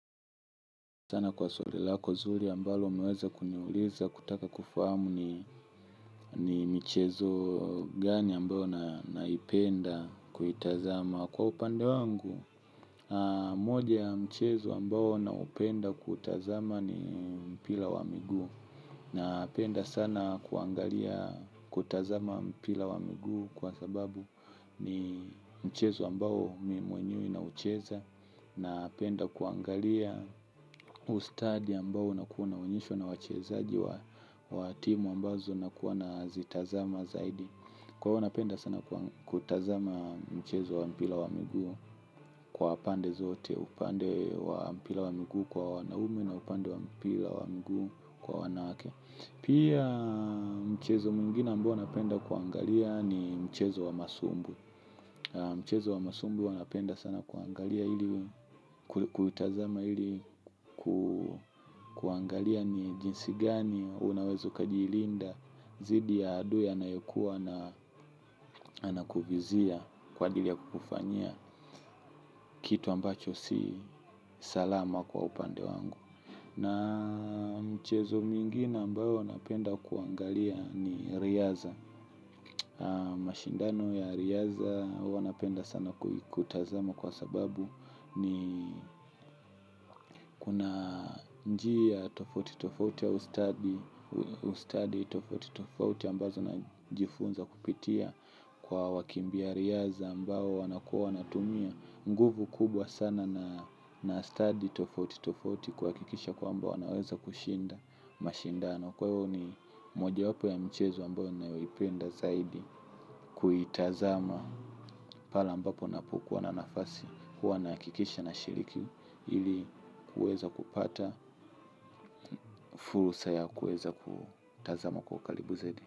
Sana kwa swali lako zuri ambalo umeweza kuniuliza kutaka kufahamu ni michezo gani ambayo naipenda kuitazama. Kwa upande wangu moja ya mchezo ambao naupenda kuutazama ni mpira wa miguu. Napenda sana kuangalia kutazama mpira wa miguu kwa sababu ni mchezo ambao mimi mwenyewe naucheza. Napenda kuangalia ustadi ambao unakua unaonyeshwa na wachezaji wa timu ambazo nakuwa nazitazama zaidi. Kwa hiyo napenda sana kutazama mchezo wa mpira wa miguu kwa pande zote upande wa mpira wa miguu kwa wanaume na upande wa mpira wa miguu kwa wanawake. Pia mchezo mwingine ambao napenda kuangalia ni mchezo wa masumbu. Mchezo wa masumbwi huwa napenda sana kuangalia ili kuitazama ili kuangalia ni jinsi gani unaweza ukajilinda dhidi ya adui anayekuwa anakuvizia kwa ajili ya kukufanyia kitu ambacho si salama kwa upande wangu. Na michezo mingine ambayo napenda kuangalia ni riadha. Mashindano ya riadha huwa napenda sana kutazama kwa sababu ni kuna njia tofauti tofauti ya ustadi ustadi tofauti tofauti ambazo najifunza kupitia kwa wakimbia riadha ambayo wanakua wanatumia nguvu kubwa sana na stadi tofauti tofauti kuhakikisha kwamba wanaweza kushinda mashindano. Kwahiyo ni mojawapo ya michezo ambayo ninayoipenda zaidi kuitazama pale ambapo ninapokuwa na nafasi. Huwa nahakikisha nashiriki ili kuweza kupata fursa ya kuweza kutazama kwa karibu zaidi.